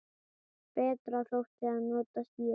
Betra þótti að nota sýru.